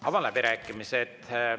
Avan läbirääkimised.